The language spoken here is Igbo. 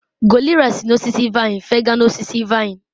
gorilla si n'osisi vine fega n'osisi vine